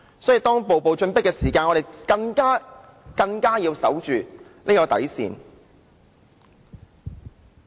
所以，當人家步步進迫，我們便更要守着這條底線。